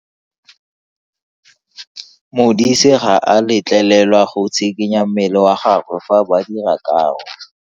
Modise ga a letlelelwa go tshikinya mmele wa gagwe fa ba dira karo.